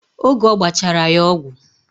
Oge ọgbachara ya ọgwụ